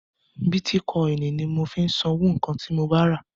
Bítíkọ́inì ni mò ń fi sanwó nǹkan ti mo ba rà..